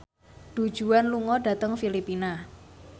Du Juan lunga dhateng Filipina